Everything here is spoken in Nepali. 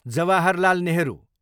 जवाहरलाल नेहरू